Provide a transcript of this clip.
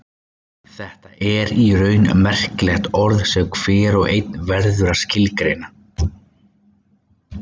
Þetta er í raun merkilegt orð sem hver og einn verður að skilgreina.